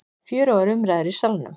Fjörugur umræður í Salnum